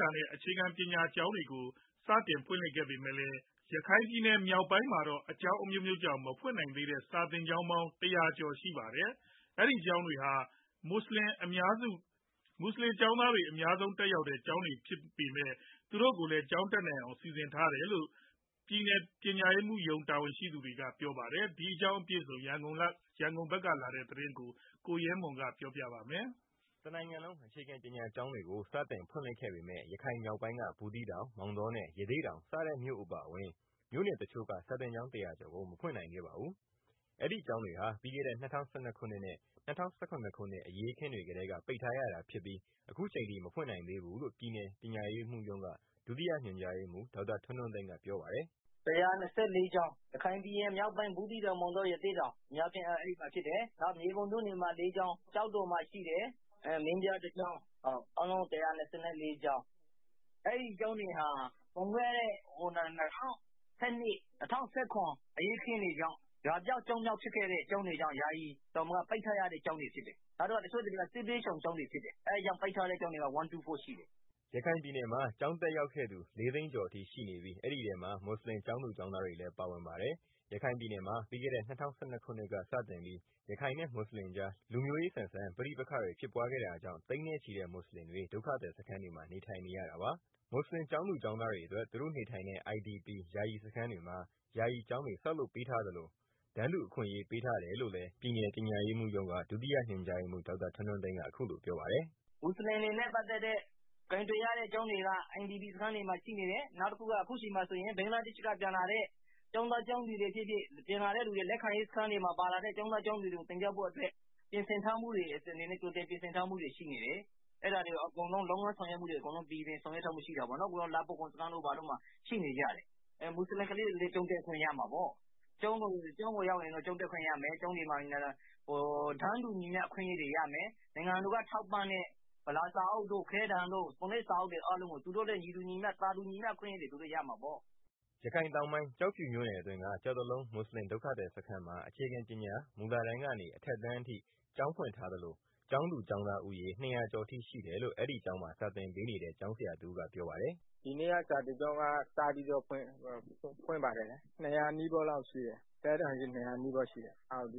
တာနဲ့ အခြေခံပညာကျောင်းတွေကို ကြာသပတေးနေ့မှာ စတင်ဖွင့်လှစ်ခဲ့ ပေမယ့် ရခိုင်ပြည်နယ်မြောက်ပိုင်းမှာတော့ အကြောင်းအမျိုးမျိုးကြောင့် မဖွင့်နိုင်သေးတဲ့ စာသင်ကျောင်းပေါင်း ၁၀၀ ကျော်အထိ ရှိနေပါတယ်။ အဲဒီကျောင်းတွေဟာ မွတ်ဆလင် အများဆုံး တက်ရောက်တဲ့ ကျောင်းတွေဖြစ်ပါတယ်။ ဒါပေမဲ့ မြို့နယ်ပညာရေးမှူးကတော့ ပြည်နယ်တွင်း မွတ်ဆလင်တွေ ကျောင်းတက်နိုင်ဖို့ စီစဉ်ပေးခဲ့တယ်လို့ပြောပါတယ်။ ရန်ကုန်က ပေးပို့လာတဲ့သတင်းကို ကိုရဲမွန် ပြောပြမှာပါ။ တနိုင်င်လုံး အေခြခံပညာကျောင်းတွေကို ဇွန်(၂)ရက်နေ့မှာ စတင်ဖွင့်လှစ်ခဲ့ပေမဲ့ ရခိုင်မြောက်ပိုင်းက ဘူူးသီးတောင် မောင်တောနဲ့ ရသေ့တောင်စတဲ့ မြို့အပါအဝင် မြို့နယ်တစ်ချို့က စာသင်ကျောင်း ၁၀၀ကျော်ကို မဖွင့်နိုင်ခဲ့ပါဘူး။ အဲဒီကျောင်းတွေဟာ ပြီးခဲ့တဲ့ ၂၀၁၂၊ ၂၀၁၇ခုနှစ်အရေးအခင်းတွေကတည်းက ပိတ်ထားရတာဖြစ်ပြီး အခုအချိန်ထိ မဖွင့်နိုင်သေးဘူးလို့ ပြည်နယ်ပညာရေးမှူးရုံးက ဒုတိယညွန်ကြားရေးမှူး ဒေါက်တာ ထွန်းထွန်းသိန်းကပြောပါတယ်။ “ ၁၂၄ ကျောင်း ရခိုင်ပြည်နယ်မြောက်ပိုင်း ဘူးသီးတောင် မောင်တော ရသေ့တောင် အများအားဖြင့်က အဲဒီမှာဖြစ်တယ်။ နောက် မြေပုံမြို့နယ်မှာ ၄ကျောင်းရှိတယ်၊ ကျောက်တော်မှာ ရှိတယ်။ မင်းပြားမှာ ၁ကျောင်း အားလုံး ၁၂၄ကျောင်းဖြစ်တယ်။ အဲဒီကျောင်းတွေဟာ ၂၀၁၂ ၊ ၂၀၁၇ အရေးအခင်းတွေကြောင့် ရွာပျောက် ကျောင်းပျောက်ဖြစ်တာကြောင့် ပိတ်ထားရတဲ့ ကျောင်းတွေဖြစ်တယ်။ တစ်ချို့ ကျောင်းတွေက စစ်ပြေးရှောင်ကျောင်းတွေ ဖြစ်တယ် အဲတာကြောင့် ပိတ်ထားရတဲ့ ကျောင်းတွေက ၁၂၄ကျောင်းရှိတယ်။” ရခိုင်ပြည်နယ်မှာ ဒီကနေ့ကျောင်းတက်ရောက်သူ ၄သိန်းကျော်အထိ ရှိနေပြီး အဲဒီထဲမှာ မွတ်ဆလင် ကျောင်းသူ ကျောင်းသားတွေလည်း ပါဝင်ပါတယ်။ ရခိုင်ပြည်နယ်မှာ ပြီးခဲ့တဲ့ ၂၀၁၂ ခုနှစ်ကစတင်ပြီး ရခိုင်နဲ့ မွတ်ဆလင်ကြား လူမျိုးရေးဆန်တဲ့ ပဋိပက္ခတွေ ဖြစ်ပွားခဲ့တာကြောင့် သိန်းနဲ့ချီတဲ့ မွတ်ဆလင်တွေ ဒုက္ခသည်စခန်းတွေမှာ နေထိုင်နေရတာပါ။ မွတ်ဆလင် ကျောင်းသူကျောင်းသားတွေအတွက် သူတို့နေထိုင်တဲ့ IDP ယာယီစခန်းတွေမှာ ယာယီကျောင်းတွေ ဆောက်လုပ်ပေးထားသလို တန်းတူအခွင့်အရေး ပေးထားတယ်လို့လည်း ပြည်နယ် ပညာရေးမှူးရုံးက ဒုတိယညွန်ကြားရေးမှူး ဒေါက်တာ ထွန်းထွန်းသိန်း ကပြောပါတယ်။ “ မွတ်ဆလင်တွေနဲ့ ပတ်သတ်ပြီး ကိုင်တွယ်ရတဲ့ ကျောင်းတွေက IDP camp တွေမှာ ရှိနေတယ်၊ အခုဆိုရင် ဘင်္ဂလားဒေရှ့်ဖက်က ပြန်လာတဲ့ ကျောင်းသားကျောင်းသူတွေ ဖြစ်ဖြစ် လက်ခံရေး စခန်းတွေမှာ ပါလာတဲ့ ကျောင်းသူ ကျောင်းသားတွေကို သင်ကြားဖို့အတွက် ကြိုတင်ပြင်ဆင်ထားတာ ရှိတယ်၊ လုပ်ငန်းဆောင်ရွက်တာတွေ အားလုံး အဆင်ပြေပြေ ဆောင်ရွက်ထားပါတယ်။ လှဖိုးခေါင် စခန်းတို့ဘာတို့မှာ ရှိနေကြတယ်။ မွတ်ဆလင် ကလေးတွေလည်း ကျောင်းတက်ခွင့်ရမှာပေါ့၊ ကျောင်းကိုရောက်ရင် ကျောင်းတက်ခွင့်ရမယ် ကျောင်းမှာ တန်းတူ အခွင့်အရေးတွေရမယ် နိုင်ငံတော်က ထောက်ပံ့တဲ့ ဗလာစာအုပ်တို့ ခဲတံတို့ ပုံနိုပ်စာအုပ်တွေ အကုန်လုံး သူတို့လည်း သာတူညီမျှ အခွင့်အရေးရမှာပေါ့။” ရခိုင်တောင်ပိုင်း ကျောက်ဖြူမြို့နယ်အတွင်းက ကျောက်တလုံး မွတ်ဆလင် ဒုက္ခသည်စခန်းမှာ အခြေခံပညာ မူလတန်းက အထက်အတန်းအထိ ကျောင်းဖွင့်ထားသလို ကျောင်းသူကျောင်းသားဦးရေ ၂၀၀ ကျော်အထိ ရှိတယ်လို့ အဲဒီကျောင်းမှာ စာသင်ပေးနေတဲ့ ကျောင်းဆရာတစ်ဦးက ပြောပါတယ်။ “ ဒီနေ့က ကျောင်းစဖွင့်တယ် ကျောင်းသားဦးရေကတော့ အထက်တန်းအထိ ၂၀၀ နီးပါး လောက်ရှိပါတယ်၊ မနေ့ကတော့ ပ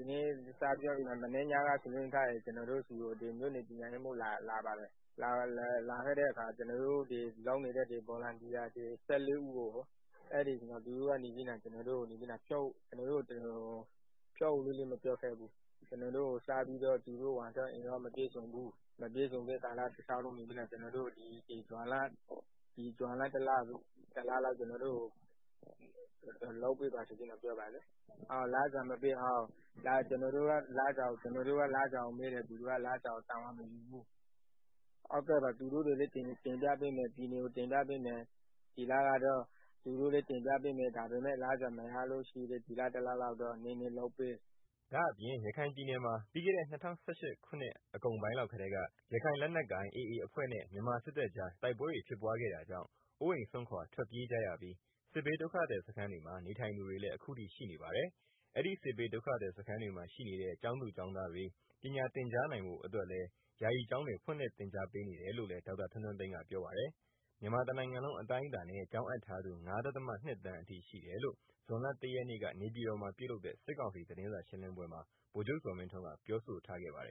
ညာရေးမှူးရောက်လာတယ်။ ကျနော်တို့ ဒီမှာ စေတနာ့ဝန်ထမ်းလုပ်နေတဲ့ ဆရာဆရာမ ၁၄ ဦးကို သူတို့မှာ ဝန်ထမ်းအင်အား မပြည့်စုံတဲ့အတွက် ဒီဇွန်လ တလလောက် လုပ်ပေးပါဆိုပြီးတော့ ပြောတယ်။ လစာမရပဲ ကျနော်တို့က လစာကိုမေးတော့ သူတို့က လစာကိုတာဝန်မယူဘူး၊ သူတို့ကတော့ ပြည်နယ်ကို တင်ပြပေးမယ် တကယ်လို့ လစာ မရလို့ရှိရင်လည်း ဒီလတစ်လလောက်တော့ နည်းနည်း လုပ်ပေးပါဆိုပြီး ပြောပါတယ်။” ဒါအပြင့် ရခိုင်ပြည်နယ်မှာ ပြီးခဲ့တဲ့ ၂၀၁၈ အကုန်ပိုင်းလောက်ကတည်းက ရခိုင်လက်နက်ကိုင် AAအဖွဲ့နဲ့ မြန်မာစစ်တပ်ကြား တိုက်ပွဲတွေ ဖြစ်ပွားခဲ့တာကြောင့် အိုးအိမ်စွန့်ခွာ ထွက်ပြေးကြရပြီး စစ်ဘေးဒုက္ခသည် စခန်းတွေမှာ နေထိုင်သူတွေလည်း ခုထိရှိပါတယ်။ အဲဒီ စစ်ဘေးဒုက္ခသည်စခန်းတွေမှာ ရှိနေတဲ့ ကျောင်းသားကျောင်းသားတွေ ပညာသင်ကြားနိုင်ဖို့ အတွက်လည်း ယာယီကျောင်းတွေ ဖွင့်လှစ်သင်ကြားပေးနေတယ်လို့ ဒေါက်တာ ထွန်းထွန်းသိန်းကပြောပါတယ်။ မြန်မာတနိုင်ငံလုံး အတိုင်းအတားနဲ့ ကျောင်းအပ်ထားသူ (၅.၂) သန်းအထိ ရှိတယ်လို့ ဇွန်လ ၁ရက်နေ့ နေပြည်တော်မှာ ပြုလုပ်တဲ့ စစ်ကောင်စီ သတင်းစာရှင်းလင်းပွဲမှာ ဗိုလ်ချုပ် ဇော်မင်းထွန်းက ပြောဆိုထားပါတယ်